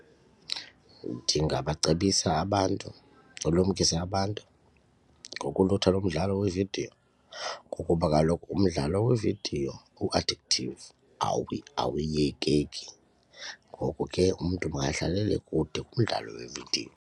Ndingabacebisa abantu ulumkise abantu ukulutha lo mdlalo wevidiyo ngokuba kaloku umdlalo weevidiyo u-addictive awuyekeki ngoku ke umntu makadlalele kude komdlalo wevidiyo.